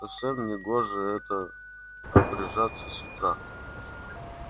совсем негоже это обряжаться с утра